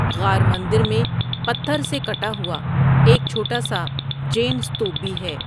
غار مندر میں پتھر سے کٹا ہوا ایک چھوٹا سا جین استوپ بھی ہے۔